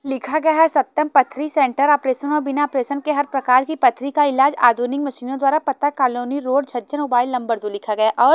लिखा गया है सत्यम पथरी सेंटर ऑपरेशन और बिना ऑपरेशन के हर प्रकार की पथरी का इलाज आधुनिक मशीनों द्वारा पता colony road Chhajjan mobile number दो लिखा गया और--